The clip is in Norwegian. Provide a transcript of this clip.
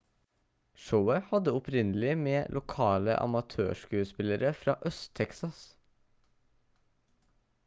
showet hadde opprinnelig med lokale amatørskuespillere fra øst-texas